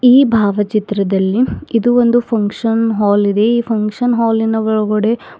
ಈ ಭಾವಚಿತ್ರದಲ್ಲಿ ಇದು ಒಂದು ಫಂಕ್ಷನ್ ಹಾಲ್ ಇದೆ ಈ ಫಂಕ್ಷನ್ ಹಾಲಿ ನ ಒಳಗಡೆ --